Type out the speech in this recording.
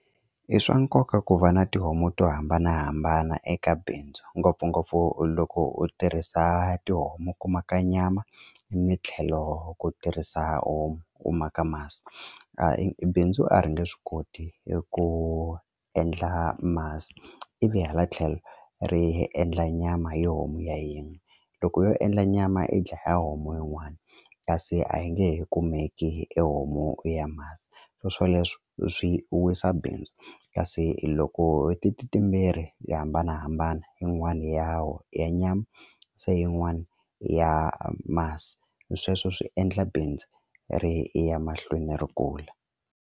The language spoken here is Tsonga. I swa nkoka ku va na tihomu to hambanahambana eka bindzu ngopfungopfu loko u tirhisa tihomu ku ma ka nyama ni tlhelo ku tirhisa u u maka masi bindzu a ri nge swi koti eku endla masi ivi hala tlhelo ri endla nyama yo homu ya yin'we loko yo endla nyama i dlaya homu yin'wani kasi a yi nge he kumeki e homu ya masi swo swoleswo swi wisa bindzu kasi loko ti ti timbirhi ya hambanahambana yin'wani ya ya nyama se yin'wani ya masi sweswo swi endla bindzu ri ya mahlweni ri kula.